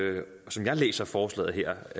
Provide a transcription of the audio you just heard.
som jeg læser forslaget her